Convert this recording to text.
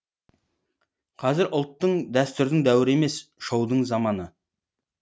қазір ұлттың дәстүрдің дәуірі емес шоудың заманы